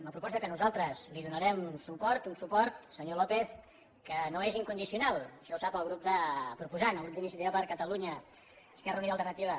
una proposta a la qual nosaltres donarem suport un suport senyor lópez que no és incondicional això ho sap el grup proposant el grup d’iniciativa per catalunya verds esquerra unida i alternativa